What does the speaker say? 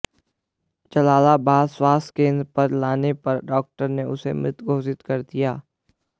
जलालाबाद स्वास्थ केन्द्र पर लाने पर डाक्टर ने उसे मृत घोषित कर दिया